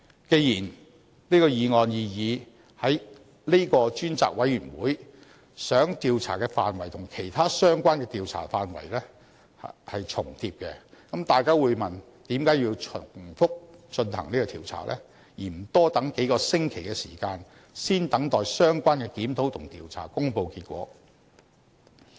既然本議案擬議的這個專責委員會想調查的範圍與其他相關的調查範圍重疊，這樣大家會問，為何要重複進行調查，而不多等數個星期，先等相關的檢討和調查公布結果？